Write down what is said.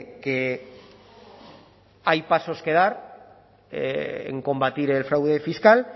que hay pasos que dar en combatir el fraude fiscal